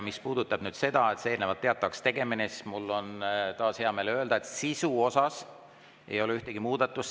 Mis puudutab eelnevalt teatavaks tegemist, siis mul on taas hea meel öelda, et sisus ei ole ühtegi muudatust.